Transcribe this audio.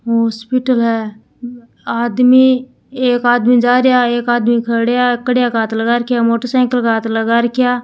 Hospital है आदमी एक आदमी जा रिया है एक आदमी खड्या है कडया के हाथ लगा रख्या मोटरसाइकिल के हाथ लगा रख्या।